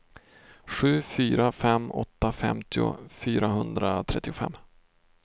sju fyra fem åtta femtio fyrahundratrettiofem